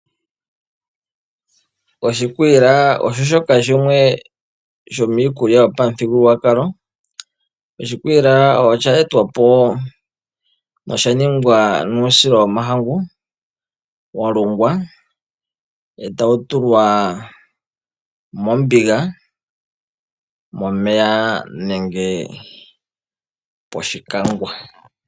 Oshikwiila oshoshoka shimwe shomiikulya yomuthigululwakalo. Oshikwiila osha etwapo oshaningwaa nuusila womahangu walungwa etawutulwa mombiga momeya nenge poshikangwa.